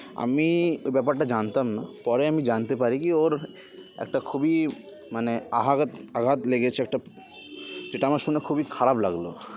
আমি ব্যাপারটা জানতাম না পরে আমি জানতে পারি কি ওর একটা খুবই মানে আহারৎ আঘাত লেগেছে একটা যেটা আমার শুনে খুবই খারাপ লাগলো